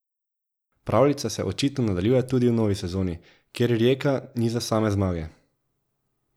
Pravljica se očitno nadaljuje tudi v novi sezoni, kjer Rijeka niza same zmage.